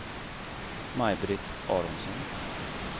Maj-Britt Aronsson